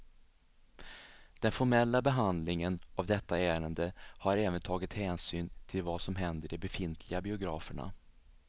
Den formella behandlingen av detta ärende har även tagit hänsyn till vad som händer de befintliga biograferna.